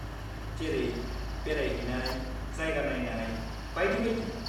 जेरै, बेरायहैनाय, जायगा नायनाय, बायदि बायदि।